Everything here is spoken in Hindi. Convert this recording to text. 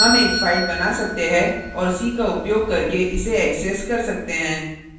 हम एक file बना सकते है और c का उपयोग करके इसे access कर सकते हैं